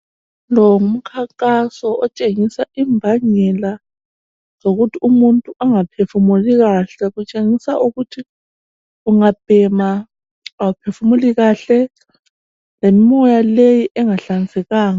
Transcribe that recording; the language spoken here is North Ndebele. Lo ngumkhankaso otshengisa imbangela zokuthi umuntu angaphefumuli kahle kutshengisa ukuthi ungabhema awuphefumuli kahle lemoya leyi engahlanzekanga.